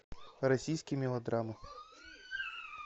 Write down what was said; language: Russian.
российские мелодрамы